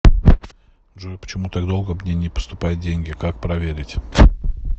джой почему так долго мне не поступают деньги как проверить